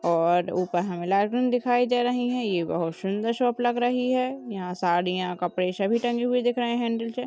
और ऊपर हमें लाइटिंग दिखाई दे रही है यह बहुत सुंदर शॉप लग रही है साड़ियां कपड़े सभी टंगे हुए दिख रहे है हैंडल से--